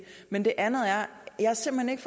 men det andet er at jeg simpelt